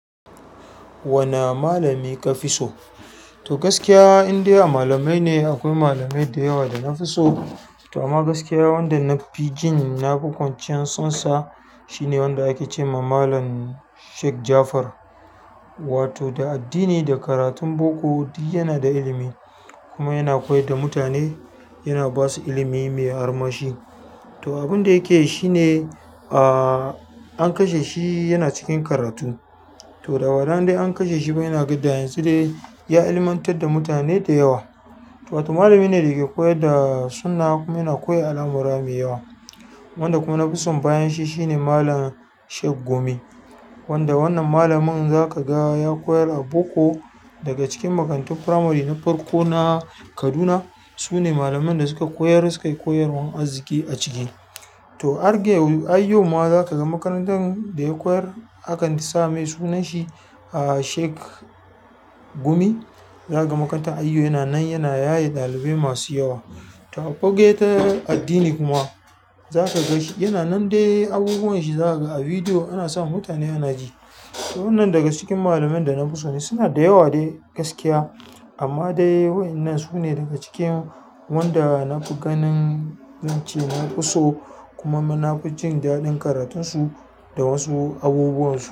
Wane malami kafiso to, gaskiya indai a malamai ne. Akwai malamai da yawa da na fi so. To amma gaskiya wanda na fi jin na fi kwanciyar sonsa shine wanda ake ce ma Malam Sheik Jafar. Wato da addini, da karatun boko, duk yana da ilimi kuma yana koyar da mutane, yana ba su ilimi mai armashi. To, abin da yake yi shine, ahhh, an kashe shi yana cikin karatu. To, daga wannan dai an kashe shi kuma yana gada, yanzu dai ya ilmantar da mutane da yawa. To, wato malami ne da yake koyar da sunna kuma yana koya al'amura mai yawa. Wanda kuma na fi son bayan shi shine Malam Sheik Gumi. Wanda wannan malamin za ka ga ya koyar a boko. Daga cikin makarantun firamare na farko na Kaduna. Su ne malamain da suka koyar, suka yi koyarwan arziki a ciki. To har gayau har yauma zakaga makarantan ɗaya koyar akan sa mai sunanshi, ahhh, Sheik Gumi. Za ka ga makaranta a yau yana nan, yana yaye ɗalibai masu yawa. To, a fagen addini kuma za ka ga shi yana nan dai abubuwan shi za ka ga a bidiyo. Ana sa mutane ana ji. Waɗannan daga cikin malamain da nafiso. Suna da yawa dai gaskiya, amma dai wai nan su ne daga cikin wanda na fi ganin, in ce na fi so. Kuma nina fi jin daɗin karatunsu da wasu abubuwan su.